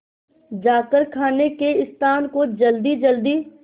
जाकर खाने के स्थान को जल्दीजल्दी